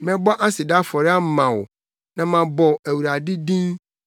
Mɛbɔ aseda afɔre ama wo na mabɔ Awurade din.